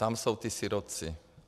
Tam jsou ti sirotci.